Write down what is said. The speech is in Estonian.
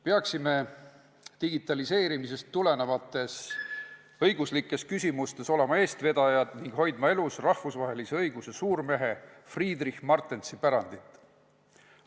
Peaksime digitaliseerimisest tulenevates õiguslikes küsimustes olema eestvedajad ning hoidma elus rahvusvahelise õiguse suurmehe Friedrich Martensi pärandit.